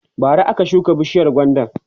bara aka shuka bishiyar gwandan